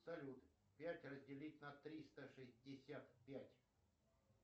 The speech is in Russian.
салют пять разделить на триста шестьдесят пять